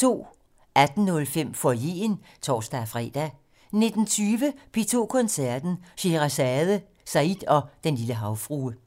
18:05: Foyeren (tor-fre) 19:20: P2 Koncerten - Sheherazade, Said og Den Lille Havfrue